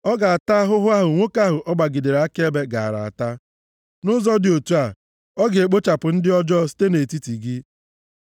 ọ ga-ata ahụhụ ahụ nwoke ahụ ọ gbagidere akaebe gaara ata. Nʼụzọ dị otu a, ị ga-ekpochapụ ndị ọjọọ site nʼetiti gị.